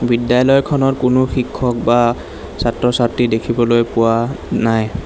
বিদ্যালয়খনত কোনো শিক্ষক বা ছাত্ৰ ছাত্ৰী দেখিবলৈ পোৱা নাই।